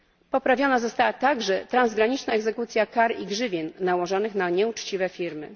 Poprawiona została także transgraniczna egzekucja kar i grzywien nałożonych na nieuczciwe firmy.